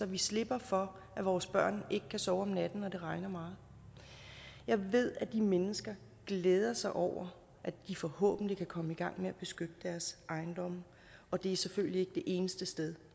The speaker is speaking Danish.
vi slipper for at vores børn ikke kan sove om natten når det regner meget jeg ved at de mennesker glæder sig over at de forhåbentlig kan komme i gang med at beskytte deres ejendomme og det er selvfølgelig ikke det eneste sted